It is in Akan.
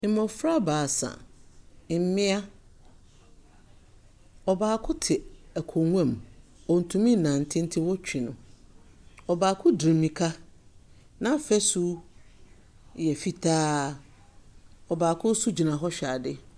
Mmɔfra baasa, mmea ɔbaako te akonnwa mu. Ɔntumi nnante nti wotwi no. ɔbaako de mmirika, na afasu yɛ fitaa. Ɔbaako nso gyina hɔ hwɛ ade.